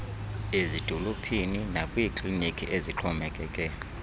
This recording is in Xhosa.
ezidolophini nakwiikliniki ezixhomekeke